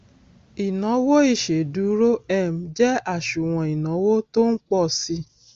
ìnawo ìsèdúró um jẹ àsùnwòn ìnáwó tó npọ síi